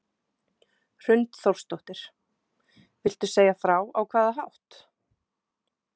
Hrund Þórsdóttir: Viltu segja frá á hvaða hátt?